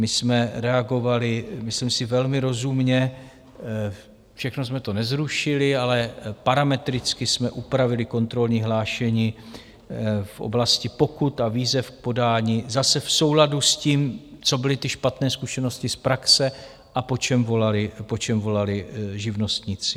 My jsme reagovali, myslím si, velmi rozumně, všechno jsme to nezrušili, ale parametricky jsme upravili kontrolní hlášení v oblasti pokut a výzev k podání, zase v souladu s tím, co byly ty špatné zkušenosti z praxe a po čem volali živnostníci.